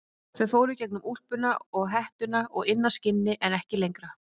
Þau fóru í gegnum úlpuna og hettuna og inn að skinni en ekki lengra.